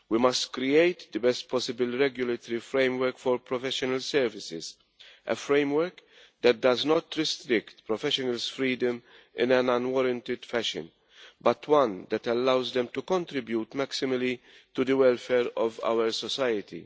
We must create the best possible regulatory framework for professional services, a framework that does not restrict professionals' freedom in an unwarranted fashion, but one that allows them to contribute maximally to the welfare of our society.